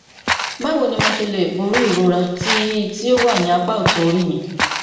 báwo ni mo ṣe lè borí ìrora tí tí ó wà ní apá ọtún orí mi